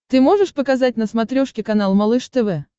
ты можешь показать на смотрешке канал малыш тв